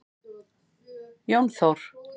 Jón Þór.